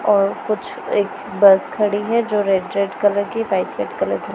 और कुछ एक बस खड़ी है जो रेड रेड कलर की वाइट रेड कलर की--